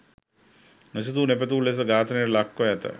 නොසිතූ නොපැතූ ලෙස ඝාතනයට ලක්‌ව ඇත.